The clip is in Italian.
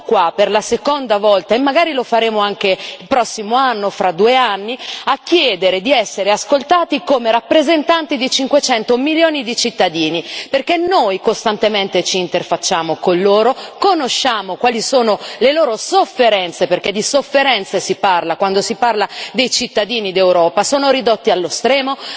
Siamo qua, per la seconda volta, e magari lo faremo anche il prossimo anno o fra due anni, a chiedere di essere ascoltati come rappresentanti di 500 milioni di cittadini, perché noi costantemente ci interfacciamo con loro, conosciamo quali sono le loro sofferenze, perché di sofferenze si parla quando si parla dei cittadini d'Europa sono ridotti allo stremo,